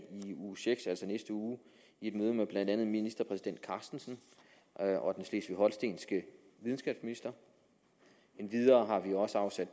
i uge seks altså i næste uge i et møde med blandt andet ministerpræsident carstensen og den slesvig holstenske videnskabsminister endvidere har vi også afsat